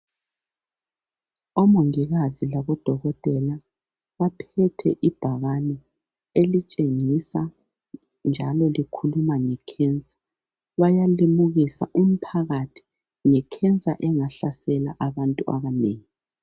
Omongikazi labodokotela baphethe ibhakane elitshengisa njalo likhuluma ngekhensa bayalimukisa umphakathi ngekhensa engahlasela abantu abanengi.